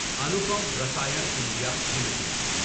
Anupam Rasayan India limited